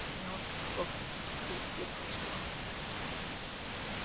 гермиона захлопнула книгу и вперилась в рона